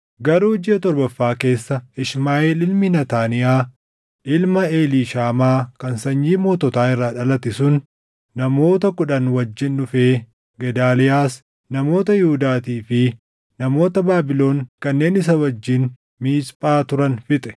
Garuu jiʼa torbaffaa keessa Ishmaaʼeel ilmi Naataaniyaa ilma Eliishaamaa kan sanyii moototaa irraa dhalate sun namoota kudhan wajjin dhufee Gedaaliyaas, namoota Yihuudaatii fi namoota Baabilon kanneen isa wajjin Miisphaa turan fixe.